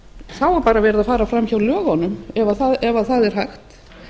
þá er bara verið að fara framhjá lögunum ef það er hægt